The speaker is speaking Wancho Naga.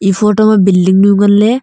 e photo ma building nu ngan ley.